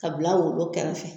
Ka bila worobo kɛrɛfɛ